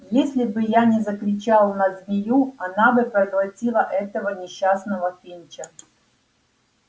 если бы я не закричал на змею она бы проглотила этого несчастного финча